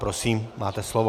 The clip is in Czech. Prosím, máte slovo.